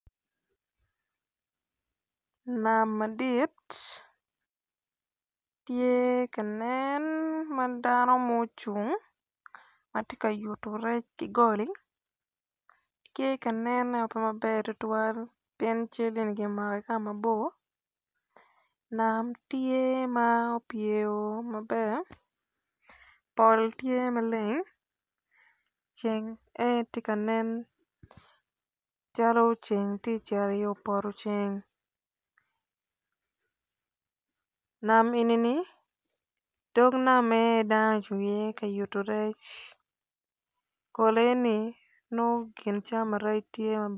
Nam madit matye ka nen ma madano mocung matye ka yuto rec ki goli pe ka nen maber tutuwal pien cal eni kimako ki kama bor nam tye ma opyer o mot pol tye maleng ceng en aye tye ka nen calo ceng tye ceto i yo poto ceng nam enini dog namme en aye dano ocungo i ye kamako rec pole ni nongo kin cawa ma rec.